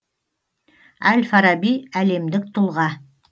әль фараби әлемдік тұлға